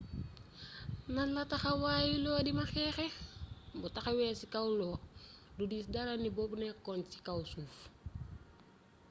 nanla taxawayu lo dima xeeccé bo taxawé ci kaw lo do diis dara nib o nékkon ci kaw suuf